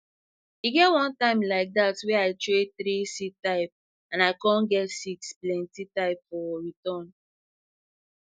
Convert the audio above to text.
e get one time like that wey i trade three seed type and i com get six plenti type for return